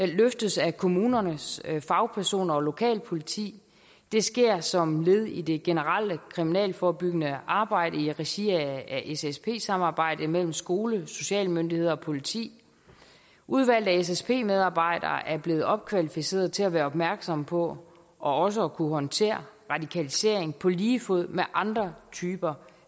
løftes af kommunernes fagpersoner og lokalpoliti det sker som led i det generelle kriminalforebyggende arbejde i regi af ssp samarbejdet mellem skole sociale myndigheder og politi udvalgte ssp medarbejdere er blevet opkvalificeret til at være opmærksomme på og også at kunne håndtere radikalisering på lige fod med andre typer